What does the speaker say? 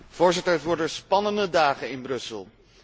Voorzitter, het worden spannende dagen in Brussel.